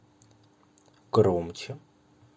громче